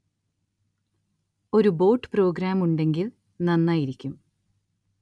ഒരു bot program ഉണ്ടെങ്കില്‍ നന്നായിരിക്കും